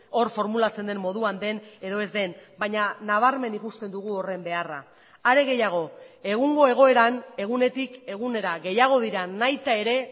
hor formulatzen den moduan den edo ez den baina nabarmen ikusten dugu horren beharra are gehiago egungo egoeran egunetik egunera gehiago dira nahita ere